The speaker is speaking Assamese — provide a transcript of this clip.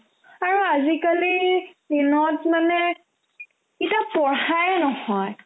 আৰু আজিকালিৰ দিনত মানে ইতা পঢ়ায়ে নহয়